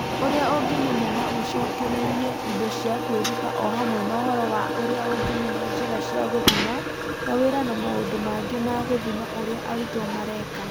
Ũrĩa ũngĩmenya na ũcokererie indo cia kwĩruta o hamwe na ũhoro wa ũrĩa ũngĩmenya njĩra cia gũthima, mawĩra na maũndũ mangĩ ma gũthima ũrĩa arutwo mareka.